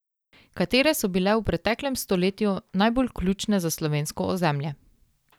Katere so bile v preteklem stoletju najbolj ključne za slovensko ozemlje?